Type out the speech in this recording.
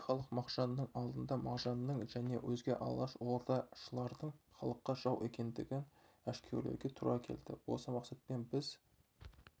бізге халық алдында мағжанның және өзге алашордашылардың халыққа жау екендігін әшкерлеуге тура келді осы мақсатпен біз